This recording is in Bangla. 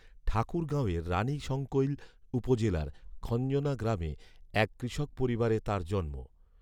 ঠাকুরগাঁওয়ের রাণীশংকৈল উপজেলার খঞ্জনা গ্রামে এক কৃষক পরিবারে তাঁর জন্ম